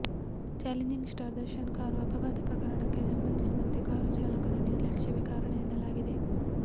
challenging star Darshan car ಅಪಘಾತ ಪ್ರಕರಣಕ್ಕೆ ಸಂಬಂಧಿಸಿದಂತೆ ಕಾರು ಚಾಲಕನ ನಿರ್ಲಕ್ಷ್ಯವೇ ಕಾರಣ ಎನ್ನಲಾಗಿದೆ